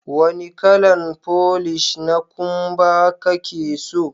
Wanni kalan folish na kumba kake so?